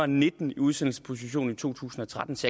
nitten i udsendelsesposition i to tusind og tretten så